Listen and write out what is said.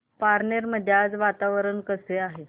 पारनेर मध्ये आज वातावरण कसे आहे